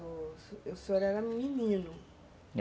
O senhor era menino.